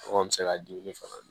Kɔngɔ bɛ se ka dumuni fana dun